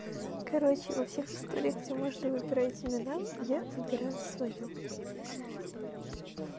короче во всех историях где можно выбирать имена я выбираю своё